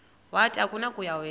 wathi akunakuya wedw